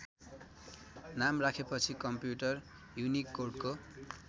नाम राखे पछि कम्पुटर युनिकोडको